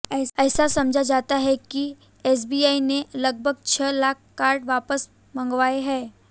ऐसा समझा जाता है कि एसबीआई ने लगभग छह लाख कार्ड वापस मंगवाए हैं